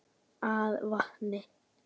af vatni.